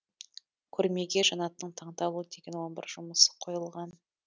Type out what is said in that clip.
көрмеге жанаттың таңдаулы деген он бір жұмысы қойылған